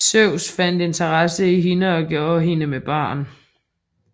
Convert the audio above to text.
Zeus fandt interesse i hende og gjorde hende med barn